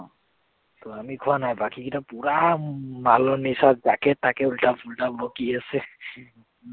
আমি খোৱা নাই বাকীগিটা পুৰা মালৰ নিচাত যাকে-তাকে উল্টা-পুল্টা বকি আছে।